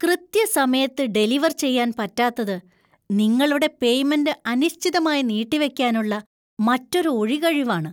കൃത്യസമയത്ത് ഡെലിവർ ചെയ്യാൻ പറ്റാത്തത് നിങ്ങളുടെ പേയ്‌മെന്‍റ് അനിശ്ചിതമായി നീട്ടിവെക്കാനുള്ള മറ്റൊരു ഒഴികഴിവ് ആണ്.